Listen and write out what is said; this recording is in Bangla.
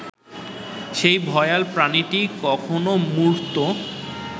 সেই ভয়াল প্রাণীটি কখনো মূর্ত